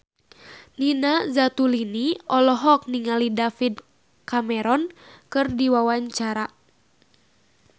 Nina Zatulini olohok ningali David Cameron keur diwawancara